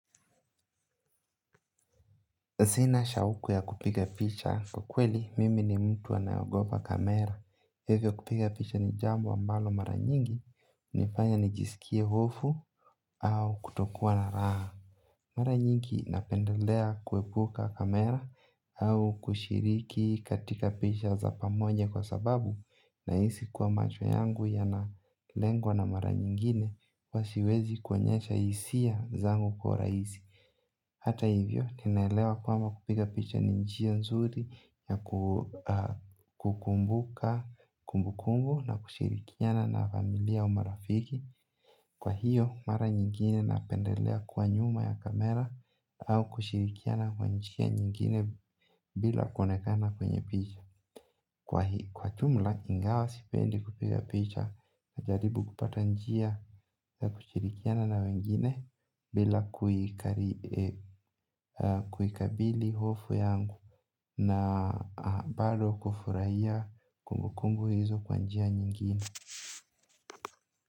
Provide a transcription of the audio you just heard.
Sina shauku ya kupiga picha. Kwa kweli, mimi ni mtu anayeogopa kamera. Hivyo kupiga picha ni jambo ambalo mara nyingi, hunifanya nijisikie hofu au kutokua na raha. Mara nyingi napendelea kuepuka kamera au kushiriki katika picha za pamoja kwa sababu nahisi kuwa macho yangu yanalengwa na mara nyingine huwa siezi kuonyesha hisia kwa urahisi. Hata hivyo, naelewa kwamba kupiga picha ni njia nzuri ya kukumbuka kumbukumbu na kushirikiana na familia au marafiki. Kwa hiyo, mara nyingine napendelea kuwa nyuma ya kamera au kushirikiana kwa njia nyingine bila kuonekana kwenye picha. Kwa ujumla ingawa sipendi kupiga picha na jaribu kupata njia na kushirikiana na wengine bila kuikabili hofu yangu na bado kufurahia kumbukumbu hizo kwa njia nyingine.